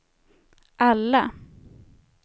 alla